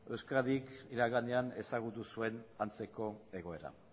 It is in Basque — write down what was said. euskadik iraganean ezagutu zuen antzeko egoera